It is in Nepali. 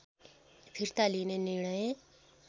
फिर्ता लिने निर्णय